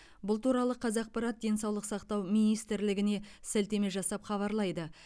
бұл туралы қазақпарат денсаулық сақтау министрлігіне сілтеме жасап хабарлайды